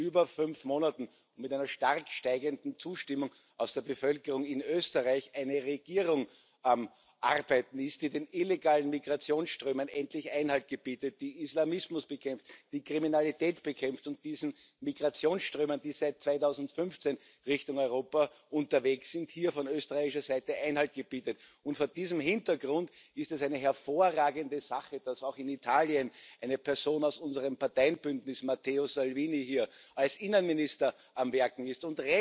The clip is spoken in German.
über fünf Monaten mit einer stark steigenden Zustimmung aus der Bevölkerung in Österreich eine Regierung am Arbeiten ist, die den illegalen Migrationsströmen endlich Einhalt gebietet, die Islamismus bekämpft, die Kriminalität bekämpft und diesen Migrationsströmen, die seit 2015 Richtung Europa unterwegs sind, von österreichischer Seite Einhalt gebietet. Vor diesem Hintergrund ist es eine hervorragende Sache, dass auch in Italien eine Person aus unserem Parteienbündnis, Matteo Salvini, als Innenminister am Werken ist.